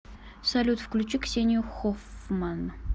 салют включи ксению хоффман